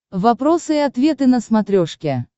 вопросы и ответы на смотрешке